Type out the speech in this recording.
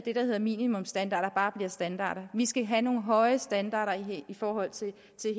at minimumsstandarder bare bliver standarder vi skal have nogle høje standarder i forhold til